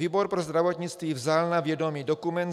Výbor pro zdravotnictví vzal na vědomí dokument